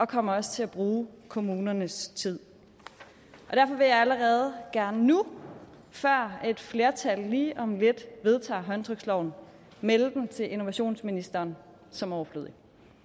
kommer også til at bruge kommunernes tid derfor vil jeg allerede gerne nu før et flertal lige om lidt vedtager håndtryksloven melde den til innovationsministeren som overflødig